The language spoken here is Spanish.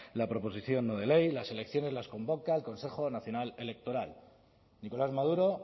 la proposición no ley las elecciones las convoca el consejo nacional electoral nicolás maduro